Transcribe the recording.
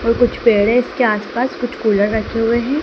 कुछ पेड़ेस के आस पास कुछ कूलर रखे हुए हैं।